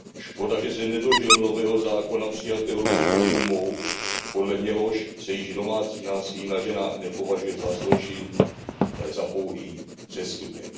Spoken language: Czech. Škoda, že se nedožil nového zákona přijatého ruskou dumou, podle něhož se již domácí násilí na ženách nepovažuje za zločin, ale za pouhý přestupek.